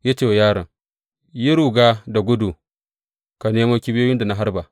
Ya ce wa yaron, Yi ruga da gudu ka nemo kibiyoyin da na harba.